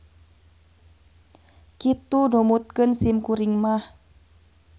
Kitu numutkeun sim kuring mah.